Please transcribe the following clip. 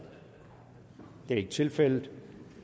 det er ikke tilfældet